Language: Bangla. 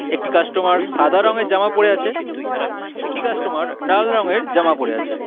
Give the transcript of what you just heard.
একটি কাস্টমার সাদা রংয়ের জামা পরে আছে একটি কাস্টমার লাল রঙের জামা পরে আছে।